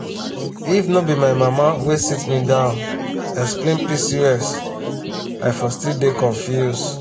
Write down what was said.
if no be my mama wey sit me down explain pcos i for still dey confuse.